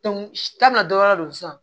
tan na dɔ wɛrɛ don sisan